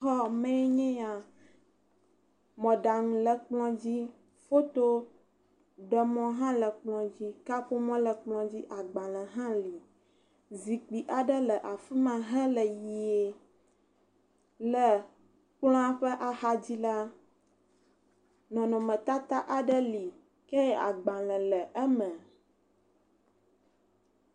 Gbalẽsrɔ̃xɔme aɖe si ekplɔ aɖe le, kɔmpita le edzi, kaƒomɔ le edzi fotoɖemɔ le edzi, agbalẽ le edzi zikpui aɖe le kplɔ ŋu wokɔ awu alo avɔ aɖe da ɖe edzi, agbalẽwo le atikpakpa aɖewo me.